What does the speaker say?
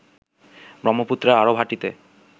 ব্রহ্মপুত্রের আরো ভাটিতে